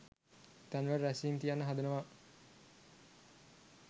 තැන්වල රැස්වීම් තියන්න හදනවා